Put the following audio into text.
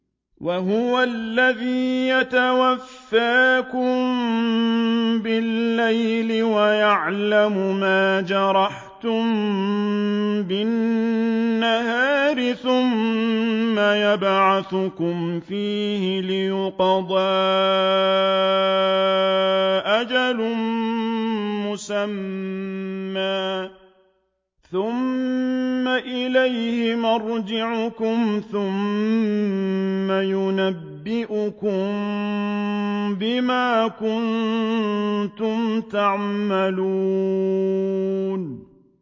وَهُوَ الَّذِي يَتَوَفَّاكُم بِاللَّيْلِ وَيَعْلَمُ مَا جَرَحْتُم بِالنَّهَارِ ثُمَّ يَبْعَثُكُمْ فِيهِ لِيُقْضَىٰ أَجَلٌ مُّسَمًّى ۖ ثُمَّ إِلَيْهِ مَرْجِعُكُمْ ثُمَّ يُنَبِّئُكُم بِمَا كُنتُمْ تَعْمَلُونَ